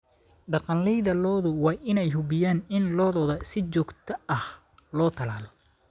Dhaqanleyda lo'du waa inay hubiyaan in lo'dooda si joogto ah loo tallaalo.